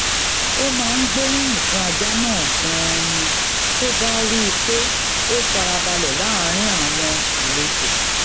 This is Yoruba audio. ó máa ń gbóríyìn fún ajá náà ganan ni tó bá rí i pé o farabale láàárín àwọn alejo